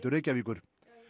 Reykjavíkur